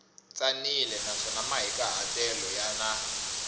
tsanile naswona mahikahatelo ya na